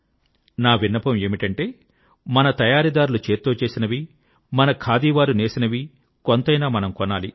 నా విన్నపం ఏమిటంటే మన తయారీదార్లు చేత్తో చేసినవి మన ఖాదీ వారు నేసినవి కొంతైనా మనం కొనాలి